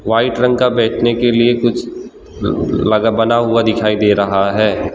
White रंग का बैठने के लिए कुछ लगा बना हुआ दिखाई दे रहा है।